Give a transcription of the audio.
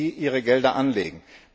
die ihre Gelder anlegen.